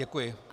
Děkuji.